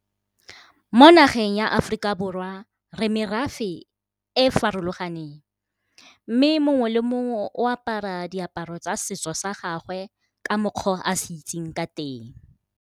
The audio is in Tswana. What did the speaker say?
Mo nageng ya Aforika Borwa re merafe e farologaneng, mme mongwe le mongwe o apara diaparo tsa setso sa gagwe ka mokgwa o a se itseng ka teng.